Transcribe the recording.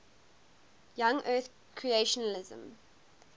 young earth creationism